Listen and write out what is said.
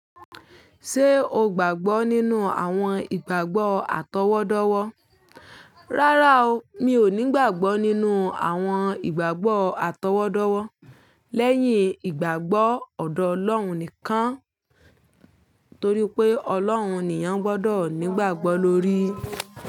Ṣé o gbàgbọ́ nínú àwọn ìgbàgbọ́ àtọwọ́dọ́wọ́? Rárá o, mi ò ní ìgbàgbọ́ nínú àwọn ìgbàgbọ́ àtọwọ́dọ́wọ́. Lẹ́yìn ìgbàgbọ́ ọ̀dọ́ Ọlọ́run nìkan. Torí pé Ọlọ́run nìyàn gbọ́dọ̀ ni gbàgbọ́ lórí.